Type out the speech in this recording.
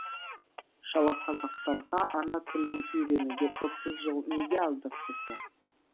шалақазақтарға ана тілін үйренуге отыз жыл неге аздық етті